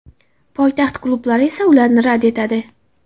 Poytaxt klublari esa ularni rad etadi.